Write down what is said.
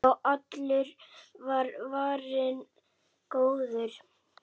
Já, allur var varinn góður!